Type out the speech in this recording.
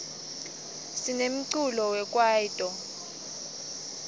sinemculo we kwayito